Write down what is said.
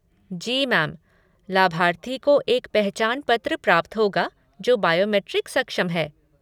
जी ma'am! लाभार्थी को एक पहचान पत्र प्राप्त होगा जो बायोमेट्रिक सक्षम है।